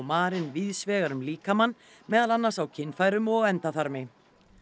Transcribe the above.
marin víðs vegar um líkamann meðal annars á kynfærum og endaþarmi